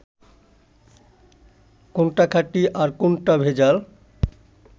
কোনটা খাঁটি আর কোনটা ভেজাল